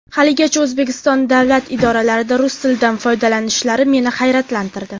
Haligacha O‘zbekiston davlat idoralarida rus tilidan foydalanishlari meni hayratlantirdi.